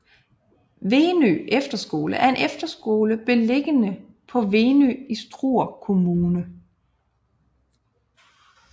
Venø Efterskole er en efterskole beliggende på Venø i Struer Kommune